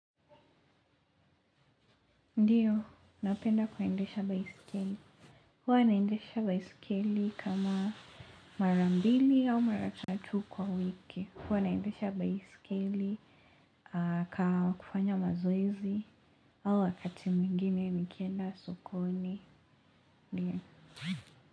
Ndio, napenda kuendesha baisikeli. Huwa naendesha baisikeli kama mara mbili au mara tatu kwa wiki. Huwa nandesha baisikeli, kwa kufanya mazoezi au wakati mwingine nikenda sokoni.